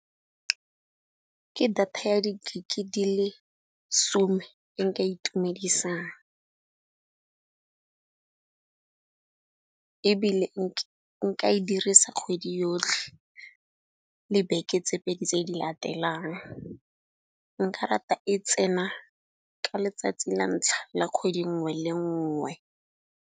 Ke data ya di gig-e di le some e nka itumedisang, ebile nka e dirisa kgwedi yotlhe le beke tse pedi tse di latelang. Nka rata e tsena ka letsatsi la ntlha la kgwedi nngwe le nngwe.